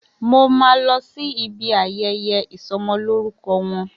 Mo máa lọ sí ibi ayẹyẹ ìsọmọlórúkọ wọn